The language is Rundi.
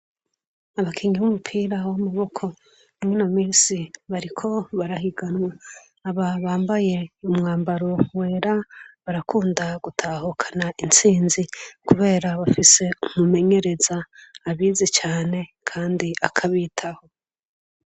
Abakingi b'umupira wo umuboko umwe nu misi bariko barahiganwa aba bambaye umwambaro wera barakunda gutahukana intsinzi, kubera bafise umumengereza abizi cane, kandi akabitaho.